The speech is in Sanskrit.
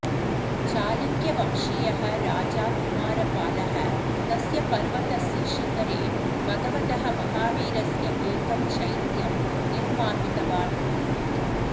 चालुक्यवंशीयः राजा कुमारपालः तस्य पर्वतस्य शिखरे भगवतः महवीरस्य एकं चैत्यं निर्मापितवान् आसीत्